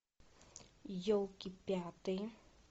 елки пятые